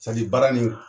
baara nin